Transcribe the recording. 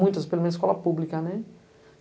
Muitas, pelo menos escola pública, né?